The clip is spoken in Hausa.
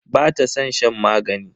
Bata san shan magani.